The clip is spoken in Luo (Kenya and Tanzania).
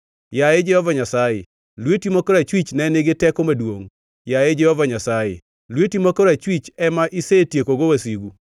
“Yaye Jehova Nyasaye, lweti ma korachwich ne nigi teko maduongʼ. Yaye, Jehova Nyasaye lweti ma korachwich ema isetiekogo wasigu.